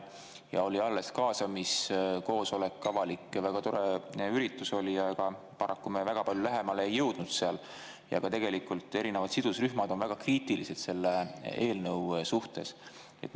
Oli alles avalik kaasamiskoosolek ja väga tore üritus oli, aga paraku me väga palju lähemale jõudnud seal, ja tegelikult erinevad sidusrühmad on väga kriitilised selle eelnõu suhtes.